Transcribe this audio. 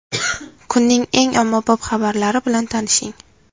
Kunning eng ommabop xabarlari bilan tanishing.